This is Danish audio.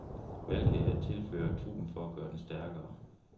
Hvad kan jeg tilføre truppen for at gøre den stærkere?